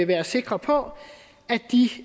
være sikre på